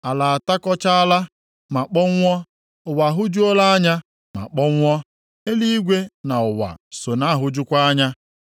Ala atakọchaala, ma kpọnwụọ. Ụwa ahụjuola anya ma kpọnwụọ. Eluigwe na nʼụwa so na-ahụjukwa anya.